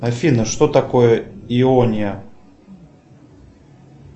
афина что такое иония